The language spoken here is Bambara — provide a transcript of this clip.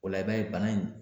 O la i bɛ bana in